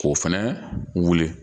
K'o fɛnɛ wuli